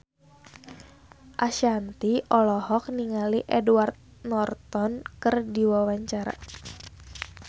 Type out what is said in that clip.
Ashanti olohok ningali Edward Norton keur diwawancara